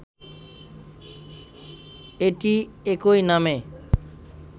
এটি একই নামে